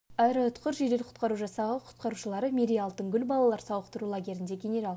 аэроұтқыр жедел құтқару жасағы құтқарушылары мерей алтын гүл балалар сауықтыру лагерлеріне генерал